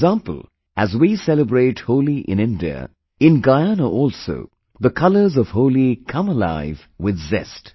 For example, as we celebrate Holi in India, in Guyana also the colors of Holi come alive with zest